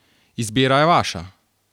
Izbira je vaša!